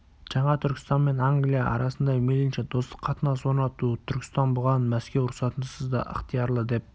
жаңа түркістан мен англия арасында мейлінше достық қатынас орнату түркістан бұған мәскеу рұқсатынсыз да ықтиярлы деп